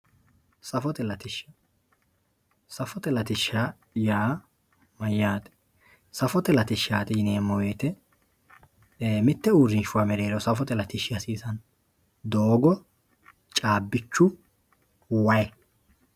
safote latishsha safote latishsha yaa mayaate safote latishshaati yineemo woyiite mitte uurinshuwa mereero safote latishshi hasiisanno doogo, caabichu, wayi.